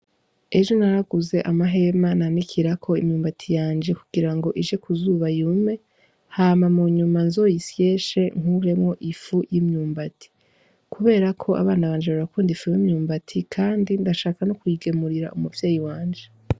Ejo naraguze amahema nanikirako imyumbati yajye kugirango ije ku zuba yume hama munyuma nzoyisyeshe nkuremwo ifu y'imyumbati kuberako abana banje barakunda ifu yimyumbati kandi ndashaka no kuyigemurira umuvyeyi wanje.